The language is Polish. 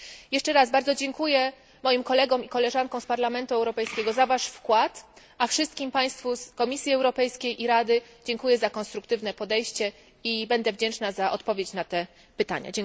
Jeszcze raz bardzo dziękuję moim kolegom i koleżankom z Parlamentu Europejskiego za wkład, a wszystkim Państwu z Komisji Europejskiej i Rady za konstruktywne podejście i będę wdzięczna za odpowiedź na te pytania.